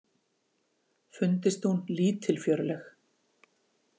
Fundist hún lítilfjörleg.